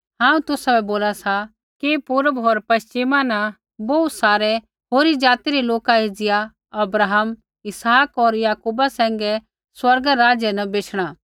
हांऊँ तुसाबै बोला सा कि पूर्व होर पश्चिमा न बोहू सारै होरी जाति रै लोका एज़िया अब्राहम इसहाक होर याकूबा सैंघै स्वर्ग रै राज्य न बेशणा